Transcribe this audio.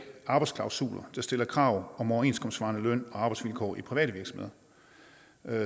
arbejdsklausuler der stiller krav om overenskomstsvarende løn og arbejdsvilkår i private virksomheder